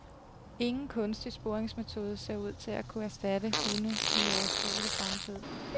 Ingen kunstig sporingsmetode ser ud til at kunne erstatte hunde i overskuelig fremtid.